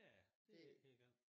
Ja det ikke helt gal